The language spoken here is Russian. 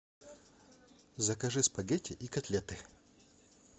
закажи спагетти и котлеты